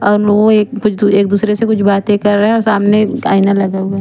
आ नो एक दूसरे से कुछ बाते कर रहे है और सामने आयना लगा हुआ है।